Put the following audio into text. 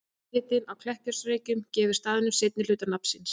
Jarðhitinn á Kleppjárnsreykjum gefur staðnum seinni hluta nafns síns.